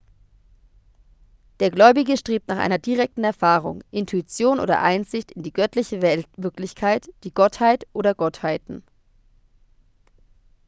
der gläubige strebt nach einer direkten erfahrung intuition oder einsicht in die göttliche wirklichkeit/die gottheit oder gottheiten